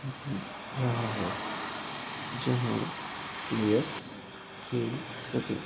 रहा है जहां प्लेयर्स खेल सके --